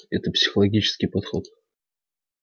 это психологический подход